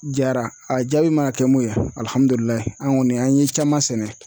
Jara a jaabi mana kɛ mun ye an kɔni an ye caman sɛnɛ